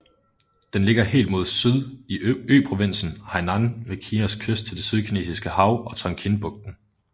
Den ligger helt mod syd i øprovinsen Hainan ved Kinas kyst til det Sydkinesiske Hav og Tonkinbugten